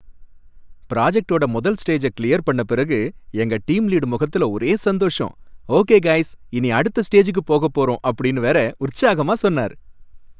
பிராஜக்டோட முதல் ஸ்டேஜ கிளியர் பண்ண பிறகு எங்க டீம் லீடு முகத்துல ஒரே சந்தோஷம், 'ஓகே கய்ஸ், இனி அடுத்த ஸ்டேஜுக்கு போகப் போறோம்' அப்படின்னு வேற உற்சாகமா சொன்னார்.